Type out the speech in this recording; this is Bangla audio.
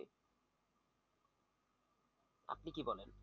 আপনি কি বলেন?